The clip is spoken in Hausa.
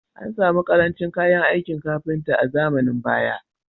An samu ƙarancin kayan aikin kafinta a zamanin baya